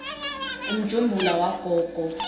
umjumbula wagogo